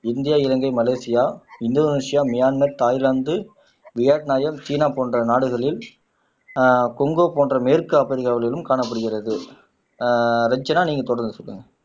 India Ilangai Malaysia Indonesia Myanmar Thailand Vietnam China போன்ற நாடுகளில் ஆஹ் கொங்கு போன்ற மேற்கு ஆப்பிரிக்காவிலும் காணப்படுகிறது ஆஹ் ரஞ்சனா நீங்க தொடர்ந்து சொல்லுங்க